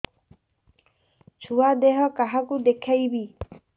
ଛୁଆ ଦେହ କାହାକୁ ଦେଖେଇବି